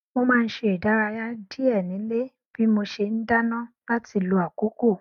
mo má n ṣe ìdárayá díẹ nílé bí mo ṣe n dáná láti lo àkókò